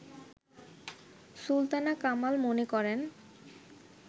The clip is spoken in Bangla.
সুলতানা কামাল মনে করেন